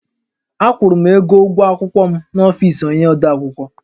Akwụrụ m ego ụgwọ akwụkwọ m n’ọfisi onyé odeakwụkwọ